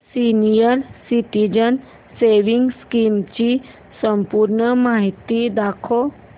senior citizens savings scheme ची संपूर्ण माहिती दाखव